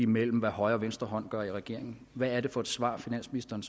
mellem hvad højre og venstre hånd gør i regeringen hvad er det for et svar finansministeren